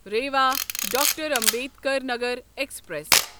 Rewa doctor Ambedkar Nagar express